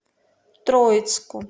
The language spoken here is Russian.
троицку